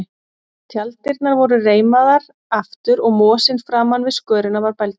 Tjalddyrnar voru reimaðar aftur og mosinn framan við skörina var bældur.